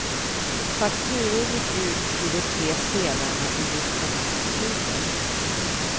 Fakturor gick ut till de tre spelarna i mitten av oktober.